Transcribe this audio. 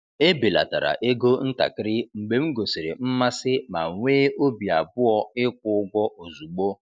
Ebelatara ego ntakịrị mgbe m gosiri mmasị ma nwee obi abụọ ịkwụ ụgwọ ozugbo.